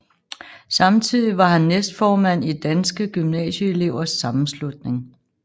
Samtidig var han næstformand i Danske Gymnasieelevers Sammenslutning